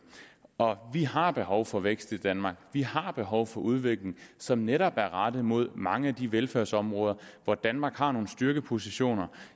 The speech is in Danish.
og vi har behov for vækst i danmark vi har behov for udvikling som netop er rettet mod mange af de velfærdsområder hvor danmark har nogle styrkepositioner